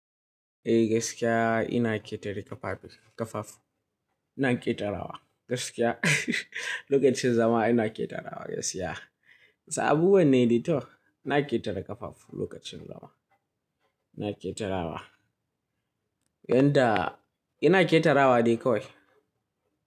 Eh gaskiya ina ƙetare ƙafafu. Ina ƙetarawa gaskiya lokacin zama ina ƙetarawa gaskiya. Toh abubuwan ne dai toh, ina ƙetare ƙafafu lokacin zama. Ina ƙetarawa. Yanda ina ƙetarawa dai kawai.